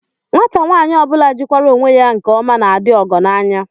Nwata nwaanyị ọ bụla jikwara onwe ya nke ọma na-adị ọgọ n'anya